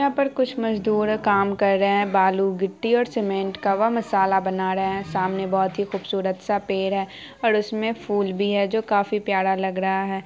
यहां पर कुछ मजदूर काम कर रहे है बाहर बालू गट्टी और सीमेंट का वह मसाला बना रहे है सामने बहुत खूबशूरत सा पेड़ है और उसमें फूल भी है जो काफी प्यारा लग रहा है।